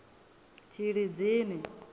tshilidzini